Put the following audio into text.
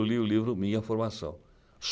Eu li o livro Minha Formação.